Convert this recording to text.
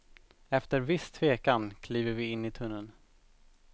Efter viss tvekan kliver vi in i tunneln.